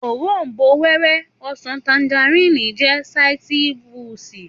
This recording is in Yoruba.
Òrombó-wẹ́wẹ́, ọsàn, tanjarínnì jẹ́ sáítírùsì